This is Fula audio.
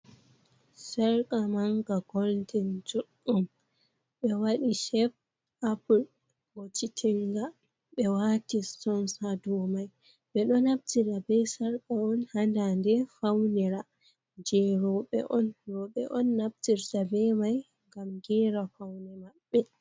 Sarqa manga goldin juɗɗum, ɓe waɗi shep apul goccitinga, ɓe wati sutun ha domai ɓeɗo naftira be sarqa on hadande faunira je roɓe on, roɓe on naftirta be mai ngam gera faune maɓɓe.